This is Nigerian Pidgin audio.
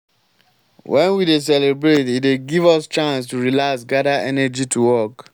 wen we dey celebrate e dey give us chance to relax gada energy to work.